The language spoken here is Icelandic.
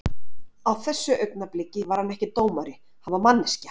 Á þessu augnabliki var hann ekki dómari, hann var manneskja.